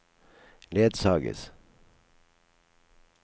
ledsages